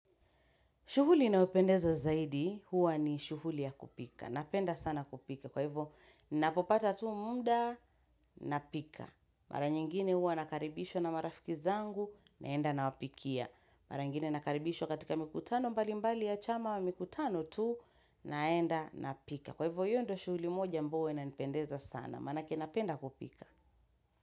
Shughuli inayopendeza zaidi, huwa ni shughuli ya kupika. Napenda sana kupika. Kwa hivyo, ninapopata tu muda, napika. Mara nyingine huwa nakaribishwa na marafiki zangu, naenda nawapikia. Mara nyingine nakaribishwa katika mikutano mbalimbali ya chama mikutano tu, naenda, napika. Kwa hivyo, hiyo ndo shughuli moja ambao huwa inanipendeza sana. Maanake napenda kupika.